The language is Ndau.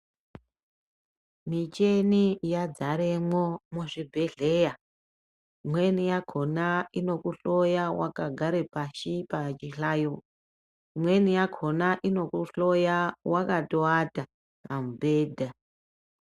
Micheni yadzaremwo muzvibhedhera imweni yakhona inokuhloya wakagara pachihlayo. Imweni yakhona inokuhoya wakatoata pamubhedha.